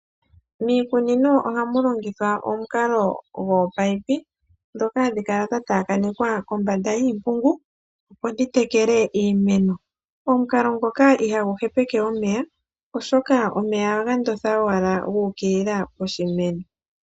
Miikunino ohamu longithwa omukalo gwominino, ndhoka hadhi kala dha taakanekwa kombanda yiimpungu, opo dhi tekele iimeno. Omukalo ngoka ihagu hepeke omeya, oshoka omeya ohaga ndotha owala gu ukilila poshimeno.